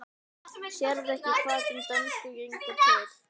Sérðu ekki hvað þeim dönsku gengur til?